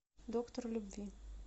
доктор любви